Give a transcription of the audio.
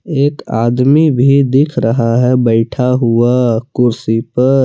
एक आदमी भी दिख रहा है बैठा हुआ कुर्सी पर।